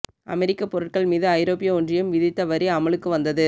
அமெரிக்க பொருட்கள் மீது ஐரோப்பிய ஒன்றியம் விதித்த வரி அமலுக்கு வந்தது